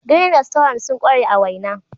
"Green restaurant sun kware a waina.